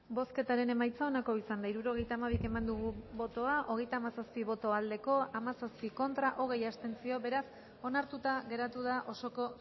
bozketaren emaitza onako izan da hirurogeita hamabi eman dugu bozka hogeita hamazazpi boto aldekoa hamazazpi contra hogei abstentzio beraz onartuta geratu da osoko